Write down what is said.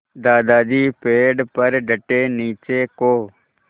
दादाजी पेड़ पर डटे नीचे को